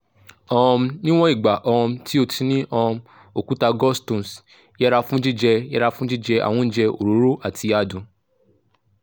um níwọ̀n ìgbà um tí o ti ní um òkúta gallstones yẹra fún jíjẹ yẹra fún jíjẹ àwọn oúnjẹ òróró àti adùn